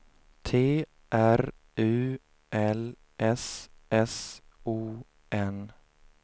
T R U L S S O N